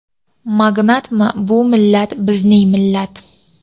magnatmi bu millat bizning millat.